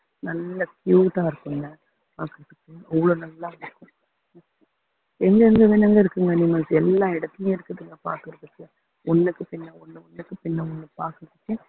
நல்ல cute ஆ இருக்குங்க பாக்குறதுக்கு அவ்ளோ நல்லா இருக்கும் என்னென்ன இருக்குங்க animals எல்லா இடத்துலேயும் இருக்குதுங்க பாக்குறதுக்கு ஒண்ணுக்கு பின்ன ஒண்ணு ஒண்ணுக்கு பின்ன ஒண்ணு பாக்குறதுக்கு